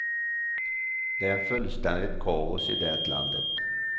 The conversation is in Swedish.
Det är fullständigt kaos i det landet.